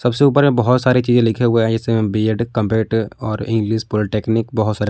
सबसे ऊपर में बहोत सारे चीजें लिखे हुए हैं जैसे में बी_एड और इंग्लिश पॉलिटेक्निक बहोत सारे--